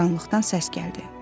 Qaranlıqdan səs gəldi.